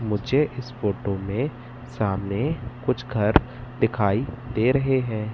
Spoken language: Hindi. मुझे इस फोटो में सामने कुछ घर दिखाई दे रहे हैं।